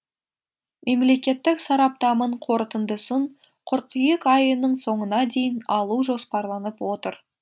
мемлекеттік сараптамың қорытындысын қыркүйек айының соңына дейін алу жоспарланып отыр